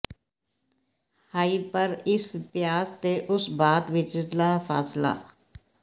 ਹਾਇ ਪਰ ਇਸ ਪਿਆਸ ਤੇ ਉਸ ਬਾਤ ਵਿਚਲਾ ਫ਼ਾਸਿਲਾ